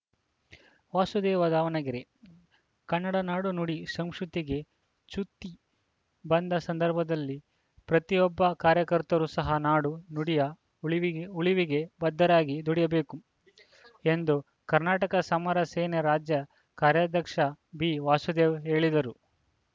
ವಾಸುದೇವ ದಾವಣಗೆರೆ ಕನ್ನಡ ನಾಡು ನುಡಿ ಸಂಸುತಿಗೆ ಚ್ಯುತಿ ಬಂದ ಸಂದರ್ಭದಲ್ಲಿ ಪ್ರತಿಯೊಬ್ಬ ಕಾರ್ಯಕರ್ತರೂ ಸಹಾ ನಾಡು ನುಡಿಯ ಉಳಿವಿ ಉಳಿವಿಗೆ ಬದ್ಧರಾಗಿ ದುಡಿಯಬೇಕು ಎಂದು ಕರ್ನಾಟಕ ಸಮರ ಸೇನೆ ರಾಜ್ಯ ಕಾರ್ಯಾಧ್ಯಕ್ಷ ಬಿವಾಸುದೇವ ಹೇಳಿದರು